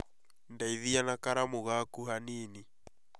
Ndeithia na karamu gaku hanini